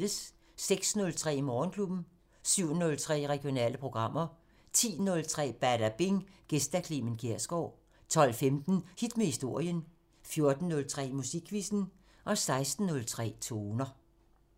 06:03: Morgenklubben 07:03: Regionale programmer 10:03: Badabing: Gæst Clement Kjersgaard 12:15: Hit med historien 14:03: Musikquizzen 16:03: Toner